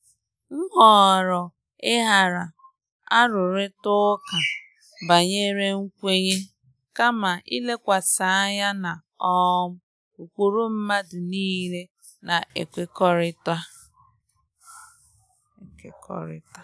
M họọrọ ịghara arụrịta ụka banyere nkwenye, kama ilekwasị anya na um ụkpụrụ mmadụ niile na-ekekọrịta.